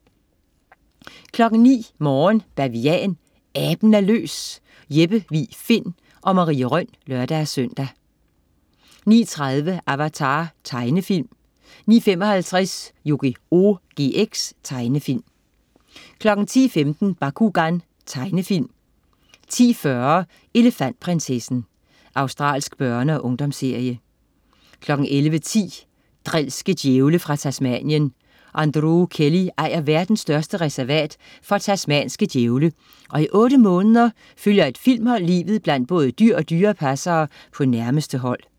09.00 Morgen Bavian. Aben er løs! Jeppe Vig Find og Marie Rønn (lør-søn) 09.30 Avatar. Tegnefilm 09.55 Yugioh GX. Tegnefilm 10.15 Bakugan. Tegnefilm 10.40 Elefantprinsessen. Australsk børne- og ungdomsserie 11.10 Drilske djævle fra Tasmanien. Androo Kelly ejer verdens største reservat for tasmanske djævle, og i otte måneder følger et filmhold livet blandt både dyr og dyrepassere på nærmeste hold